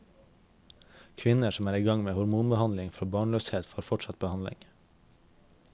Kvinner som er i gang med hormonbehandling for barnløshet får fortsatt behandling.